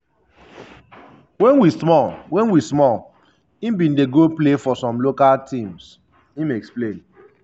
wen we small wen we small im bin dey go play for some local teams" im explain.